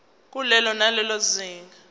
kulelo nalelo zinga